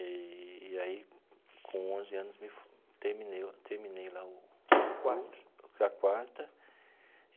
Eee e aí, com onze anos me fo, terminei o terminei lá o quarto a quarta.